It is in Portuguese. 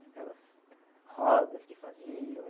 Aquelas rodas que faziam, hum...